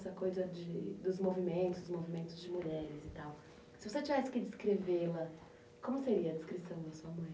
Essa coisa de, dos movimento, movimentos de mulheres e tal. Se você tivesse que descrevê-la, como seria a descrição da sua mãe?